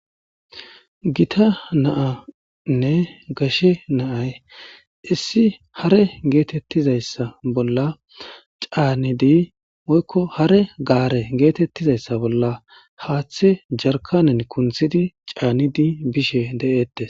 gita naanne gashe naay issi hare geetettizayssa bolla caanidi woykko hare gaare geetettizayssa bolla haaththe jarkanen kunthidi caanidi bishe de7eette